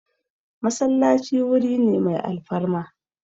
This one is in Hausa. Masallaci wuri ne mai alfarma